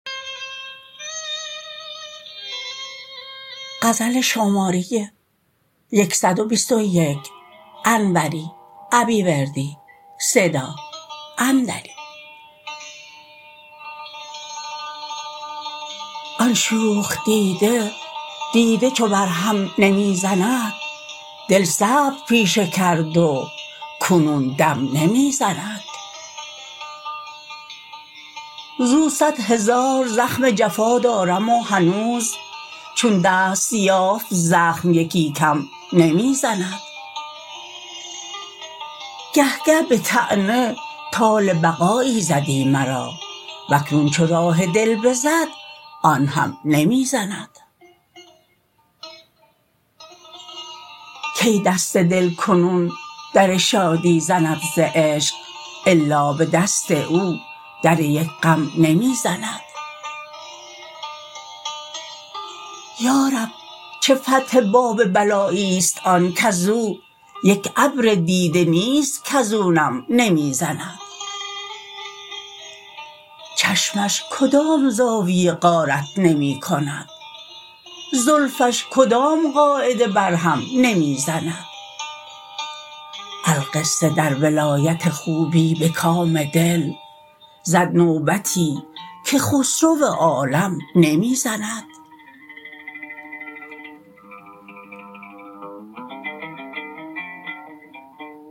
آن شوخ دیده دیده چو بر هم نمی زند دل صبر پیشه کرد و کنون دم نمی زند زو صد هزار زخم جفا دارم و هنوز چون دست یافت زخم یکی کم نمی زند گه گه به طعنه طال بقایی زدی مرا واکنون چو راه دل بزد آنهم نمی زند کی دست دل کنون در شادی زند ز عشق الا به دست او در یک غم نمی زند یارب چه فتح باب بلایی است آن کزو یک ابر دیده نیست کزو نم نمی زند چشمش کدام زاویه غارت نمی کند زلفش کدام قاعده بر هم نمی زند القصه در ولایت خوبی به کام دل زد نوبتی که خسرو عالم نمی زند